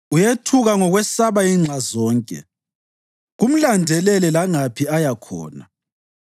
Uyethuka ngokwesaba inxa zonke kumlandelele langaphi aya khona.